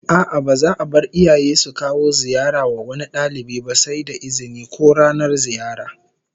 A'a, ba za'a bar iyaye su kawo ziyara wa wani dalibi ba sai da izini, ko ranar ziyara